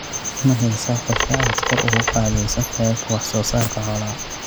Mahaysaa qorshe aad kor ugu qaadayso heerka wax-soosaarka xoolaha?